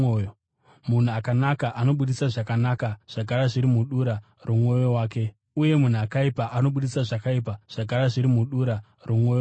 Munhu akanaka anobudisa zvakanaka zvagara zviri mudura romwoyo wake, uye munhu akaipa anobudisa zvakaipa zvagara zviri mudura romwoyo wake.